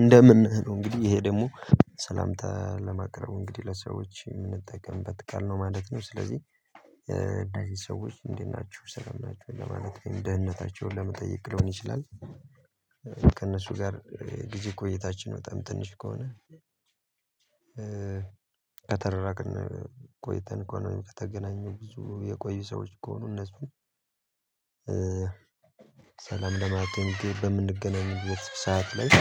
እንደምን ነህ እንግዲህ ይሄ ደግሞ ሰላምታ ለማቅረቡ እንግዲህ ለሰዎች የምንጠቀምበት ቃል ነው ማለት ነው። ስለዚህ ሃይ ሰዎች እንዴት ናችሁ ሰላም ናችሁ ለማለት ነው የደህንነታቸውን ለመጠየቅ ሊሆን ይችላል። ከእነሱ ጋር ጊዜ ቆይታችን በጣም ትንሽ ከሆነ- ከተራራቅን ቆይተን ከሆነ ከተገናኘው ብዙ የቆዩ ሰዎች ከሆኑ እነሱን- ሰላም ለማግኘት በምንገናኝበት ሰዓት ላይ-